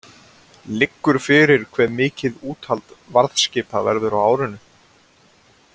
Liggur fyrir hve mikið úthald varðskipa verður á árinu?